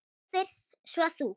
Við fyrst, svo þú.